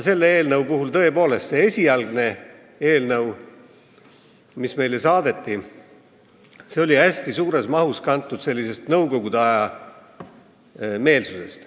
Aga tõepoolest, see esialgne eelnõu, mis meile saadeti, oli hästi suures mahus kantud nõukogude aja meelsusest.